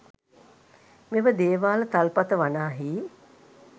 මෙම දේවාල තල්පත වනාහි